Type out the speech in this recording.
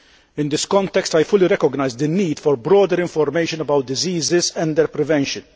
In this context, I fully recognise the need for broader information about diseases and their prevention.